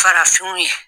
Farafinw ye